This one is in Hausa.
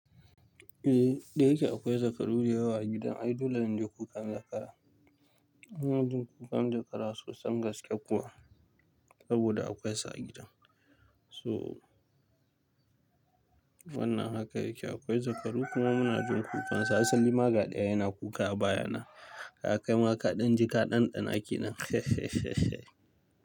Eh, dai yake akwai zakaru da yawa a gidan. Ai, dole inji kukan zakara. Muna jin kukan zakara sosai gaske kuwa, saboda akwai su a gidan. So wannan haka yake akwai zakaru kuma muna jin kukansu. Hasali maga ɗaya yana kuka a baya na. Ya kai maka ɗan ji ka ɗanɗana ke nan.